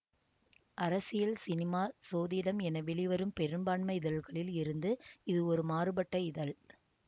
அரசியல் சினிமா சோதிடம் என வெளிவரும் பெரும்பான்மை இதழ்களில் இருந்து இது ஒரு மாறுபட்ட இதழ்